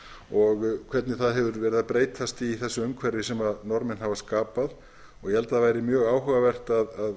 og hvernig það hefur verið að breytast í þessu umhverfi sem norðmenn hafa skapað ég held að það væri mjög áhugavert að